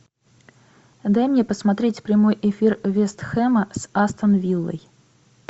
дай мне посмотреть прямой эфир вест хэма с астон виллой